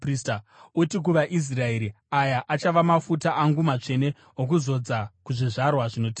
Uti kuvaIsraeri, ‘Aya achava mafuta angu matsvene okuzodza kuzvizvarwa zvinotevera.